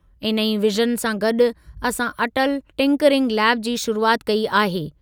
इन ई विजन सां गॾु असां अटल टिंकरिंग लैब जी शुरूआति कई आहे।